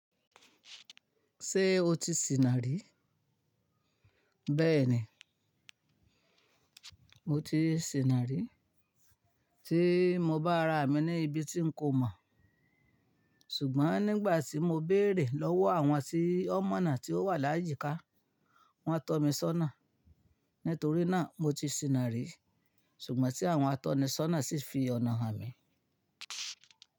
Ṣé o ti sìnà rí? Bẹ́ẹ̀ni, mo ti sìnà rí. Tí mo bá ra àmì ni ibi tí n ko mọ̀, ṣùgbọ́n nígbà tí mo béèrè lọ́wọ́ àwọn tí o mọ náà tí ó wà láyíká, wọ́n tọ́ mi sọ́nà. Nítorí náà, mo ti sìnà rí. Ṣùgbọ́n tí àwọn atọ́ni sọ́nà sì fi ọ̀nà hàn mí.